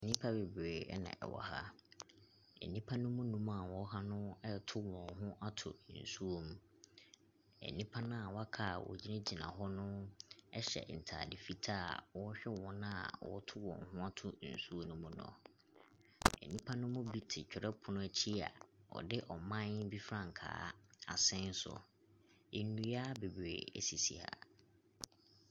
Nnipa bebree ɛna ɛwɔ ha. Nnipa no mu nnum a wɔwɔ ha no ɛto wɔn ho ato nsuom. Nnipa na w'aka a wogyina gyina hɔ no, ɛhyɛ ntaade fitaa a wɔhwɛ wɔn a wɔto wɔn ho ato nsuom no. Nnipa no mu bi te twerɛpono akyi a wɔde ɔman bi frankaa asɛn so. Nnua beberee esisi ha.